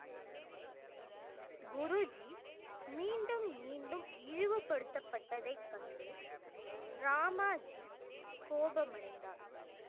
குருஜி மீண்டும் மீண்டும் இழிவுபடுத்தப்பட்டதைக் கண்டு ராமாஜி கோபமடைந்தார்